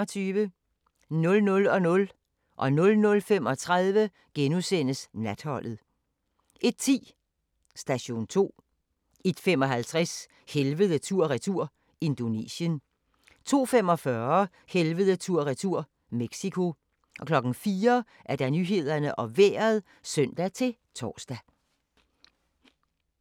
23:25: Natholdet * 00:00: Natholdet * 00:35: Natholdet * 01:10: Station 2 01:55: Helvede tur-retur – Indonesien 02:45: Helvede tur/retur - Mexico 04:00: Nyhederne og Vejret (søn-tor)